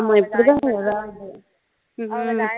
அவங்க எப்படிதான் ஏதாவது ஹம்